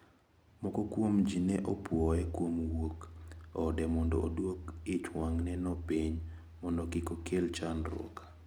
Moko kuomji ne opuoye kuom wuok ode mondo oduok ichwang`neno piny mondo kik okel chandruok.